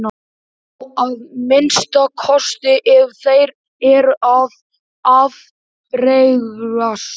Já að minnsta kosti ef þeir eru af bergsætt.